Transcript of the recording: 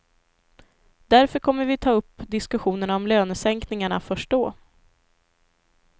Därför kommer vi att ta upp diskussionerna om lönesänkningarna först då.